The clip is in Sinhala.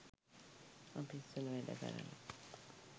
ඔෆිස් වල වැඩ කරල